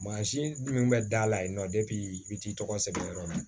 Mansin min bɛ da la yen nɔ i bɛ t'i tɔgɔ sɛbɛn yɔrɔ la